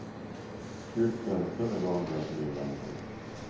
Skyltfönster är vanliga på min vandring.